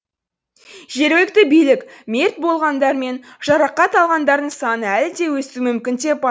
жергілікті билік мерт болғандар мен жарақат алғандардың саны әлі де өсуі мүмкін деп